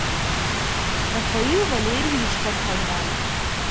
рафаил валерьевич карханян